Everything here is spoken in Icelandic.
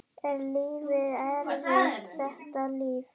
Er líf eftir þetta líf?